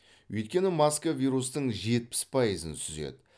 өйткені маска вирустың жетпіс пайызын сүзеді